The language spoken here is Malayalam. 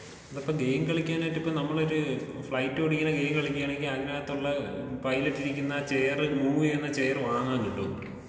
അല്ല ഇപ്പൊ ഗെയിം കളിക്കാനായിട്ട് ഇപ്പൊ നമ്മളൊര് ഫ്ലൈറ്റ് ഓടിക്കുന്ന ഗെയിം കളിക്കാണെങ്കി അതിനകത്തുള്ള പൈലറ്റ് ഇരിക്കുന്ന ചെയറ് മൂവ് ചെയ്യുന്ന ചെയറ് വാങ്ങാൻ കിട്ടോ?